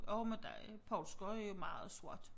Jo men der er Poulsker er jo meget sort